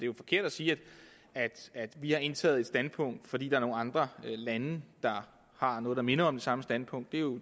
jo forkert at sige at vi har indtaget et standpunkt fordi er nogle andre lande der har noget der minder om det samme standpunkt det er jo